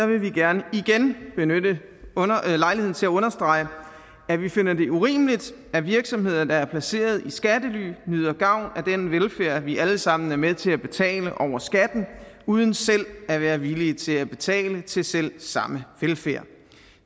vil vi gerne igen benytte lejligheden til at understrege at vi finder det urimeligt at virksomheder der er placeret i skattely nyder gavn af den velfærd vi alle sammen er med til at betale over skatten uden selv at være villige til at betale til selv samme velfærd